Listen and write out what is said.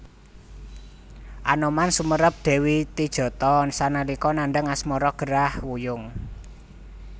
Anoman sumerep Dewi Tijatha sanalika nandhang asmara gerah wuyung